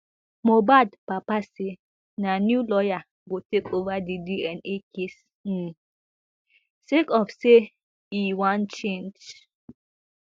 mohbad papa say na new lawyer go take ova di dna case um sake of say e wan change